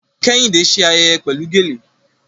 Kẹ́hìndé ṣe ayẹyẹ pẹ̀lú gèlè